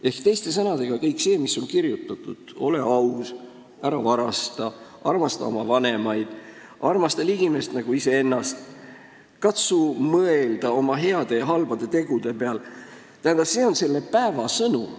" Ehk teiste sõnadega, kõik see, mis on kirjutatud – ole aus, ära varasta, armasta oma vanemaid, armasta ligimest nagu iseennast, katsu mõelda oma heade ja halbade tegude peale –, see on selle päeva sõnum.